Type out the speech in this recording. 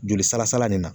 Joli sala sala nin na